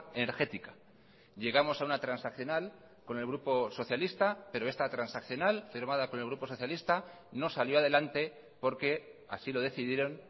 energética llegamos a una transaccional con el grupo socialista pero esta transaccional firmada con el grupo socialista no salió adelante porque así lo decidieron